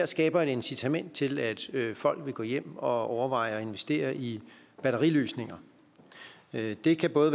skaber et incitament til at folk vil gå hjem og overveje at investere i batteriløsninger det kan både